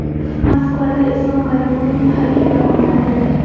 Moskvada Islom Karimovning haykali o‘rnatildi.